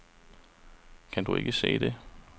Kan du ikke se det?